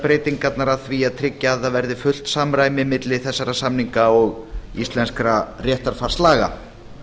breytingarnar að því að tryggja að það verði fullt samræmi milli þessara samninga og íslenskra réttarfarslaga